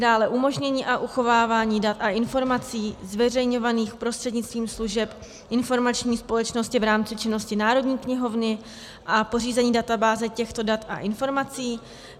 Dále umožnění a uchovávání dat a informací zveřejňovaných prostřednictvím služeb informační společnosti v rámci činnosti Národní knihovny a pořízení databáze těchto dat a informací.